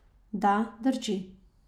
Da, drži.